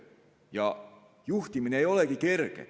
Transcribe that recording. Ega juhtimine olegi kerge.